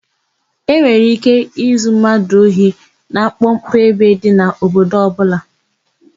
E nwere íké izu mmadụ ohi na mkpọmkpọ ebe dị n'obodo ọbụla.